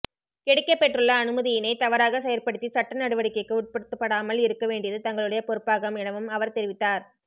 கிடைக்கப்பெற்றுள்ள அனுமதியினை தவறாக செயற்படுத்தி சட்ட நடவடிக்கைக்கு உட்படுத்தப்படாமல் இருக்க வேண்டியது தங்களுடைய பொறுப்பாகும் எனவும் அவர் தெரிவித்தார்